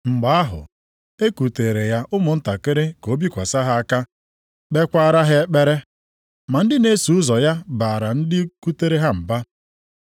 Mgbe ahụ e kuteere ya ụmụntakịrị ka o bikwasị ha aka, kpeekwara ha ekpere. Ma ndị na-eso ụzọ ya baara ndị kutere ha mba.